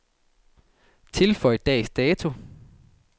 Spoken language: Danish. Tilføj dags dato.